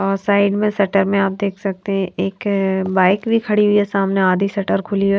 और साइड में शटर में आप देख सकते हैं एक बाइक भी खड़ी हुई है सामने आधी शटर खुली है।